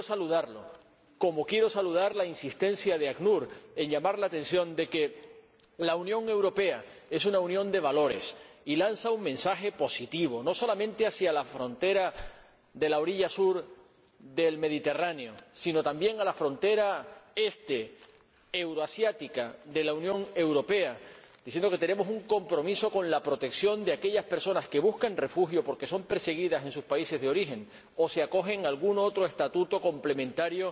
Quiero saludarlo, como quiero saludar la insistencia del ACNUR en llamar la atención sobre el hecho de que la Unión Europea es una unión de valores y lanza un mensaje positivo, no solamente a los países de la orilla sur del Mediterráneo, sino también a los de la frontera este, euroasiática, de la Unión Europea, diciendo que tenemos un compromiso con la protección de aquellas personas que buscan refugio porque son perseguidas en sus países de origen o se acogen a algún otro estatuto complementario